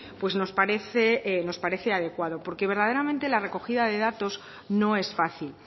pues nos parece nos parece adecuado porque verdaderamente la recogida de datos no es fácil